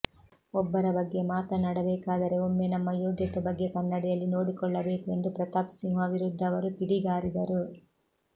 ಒಬ್ಬರ ಬಗ್ಗೆ ಮಾತನಾಡಬೇಕಾದರೆ ಒಮ್ಮೆ ನಮ್ಮ ಯೋಗ್ಯತೆ ಬಗ್ಗೆ ಕನ್ನಡಿಯಲ್ಲಿ ನೋಡಿಕೊಳ್ಳಬೇಕು ಎಂದು ಪ್ರತಾಪ್ಸಿಂಹ ವಿರುದ್ಧ ಅವರು ಕಿಡಿಗಾರಿದರು